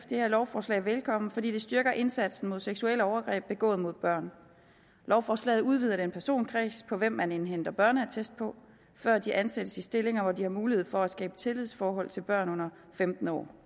det her lovforslag velkommen fordi det styrker indsatsen mod seksuelle overgreb begået mod børn lovforslaget udvider den personkreds som man indhenter børneattest på før de ansættes i stillinger hvor de har mulighed for at skabe tillidsforhold til børn under femten år